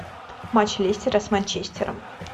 матч лестера с манчестером